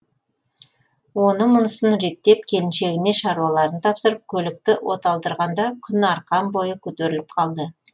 оны мұнысын реттеп келіншегіне шаруаларын тапсырып көлікті оталдырғанда күн арқан бойы көтеріліп қалды